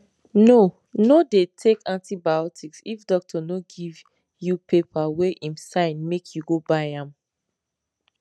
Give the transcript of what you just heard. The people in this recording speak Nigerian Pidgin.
no no dey take antibiotics if doctor no give you paper wey em sign make you go buy am